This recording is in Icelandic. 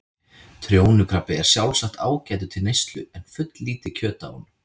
Trjónukrabbi er sjálfsagt ágætur til neyslu en fulllítið kjöt á honum.